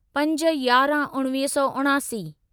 पंज यारहं उणिवीह सौ उणासी